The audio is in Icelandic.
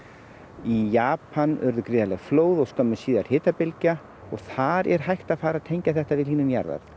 í Japan urðu gríðarleg flóð og skömmu síðar hitabylgja og þar er hægt að fara að tengja þetta við hlýnun jarðar